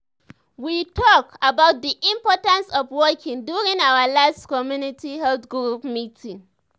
we talk about the importance of walking during our last community health group meeting.